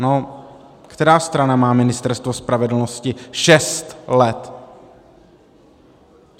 No která strana má Ministerstvo spravedlnosti šest let?